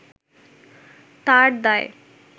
তার দায়